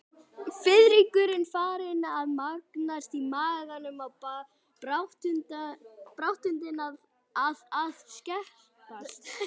Fiðringurinn farinn að magnast í maganum og baráttuandinn að að skerpast.